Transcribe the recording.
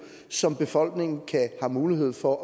som befolkningen har mulighed for at